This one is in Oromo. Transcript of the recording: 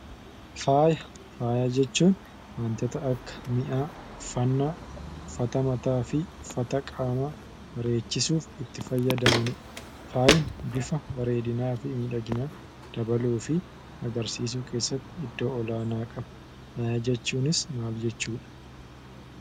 Faaya. Faaya jechuun waantoota akka mi'aa, uffata mata, uffata qaama bareechisuuf itti faayadamannidha. Faayi bifa bareedinafi midhaginnaa dabaluufi agarsisuu keessatti iddoo olaanaa qaba. Kana jechuunis maal jechuudha?